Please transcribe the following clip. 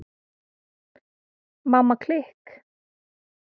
Mamma klikk!